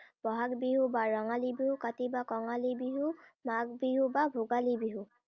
বহাগ বিহু বা ৰঙালী বিহু, কাতি বা কঙালী বিহু, মাঘ বিহু বা ভোগালী বিহু।